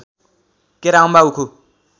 केरा अम्बा उखु